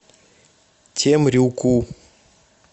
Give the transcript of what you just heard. темрюку